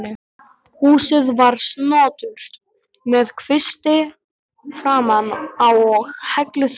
Húsið var snoturt með kvisti framan á og helluþaki.